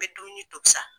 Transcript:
N bɛ dumuni tobi sa